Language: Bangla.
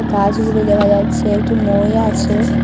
গাছগুলি দেখা যাচ্ছে একটি মই আছে।